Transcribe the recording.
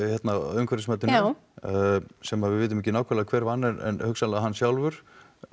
umhverfismatinu sem við vitum ekki nákvæmlega hver vann en hugsanlega hann sjálfur